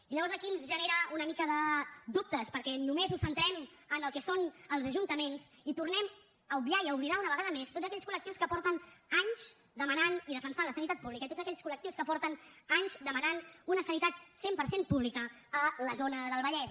i llavors aquí ens genera una mica de dubtes perquè només ho centrem en el que són els ajuntaments i tornem a obviar i a oblidar una vegada més tots aquells col·lectius que fa anys que demanen i defensen la sanitat pública i tots aquells col·lectius que fa anys que demanen una sanitat cent per cent pública a la zona del vallès